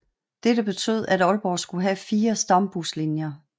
Dette betød at Aalborg skulle have 4 Stambuslinjer